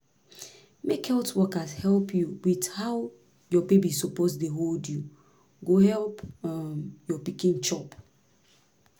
make health workers help you with how your baby suppose dey hold you go help um your pikin chop